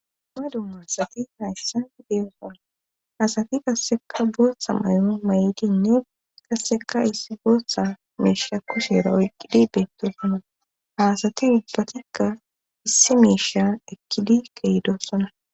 ma dummasati hayssa deeoqola asati kasseka booththa mayo may7idinne kasseka issi booththa meisha kusheera oyqqidi beettosona haasati ubbatikka issi meisha ekkidi kehdossona